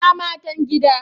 Ina Matan gida?